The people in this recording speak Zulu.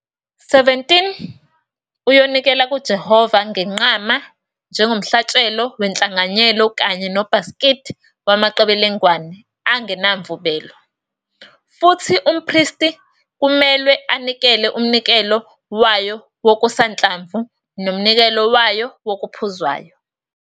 17 Uyonikela kuJehova ngenqama njengomhlatshelo wenhlanganyelo kanye nobhasikidi wamaqebelengwane angenamvubelo, futhi umpristi kumelwe anikele umnikelo wayo wokusanhlamvu nomnikelo wayo wokuphuzwayo.